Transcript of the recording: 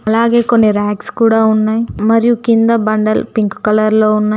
అలాగే కొన్ని రాక్స్ కూడా ఉన్నాయ్ మరియు కింద బండలు పింక్ కలర్ లో ఉన్నాయ్.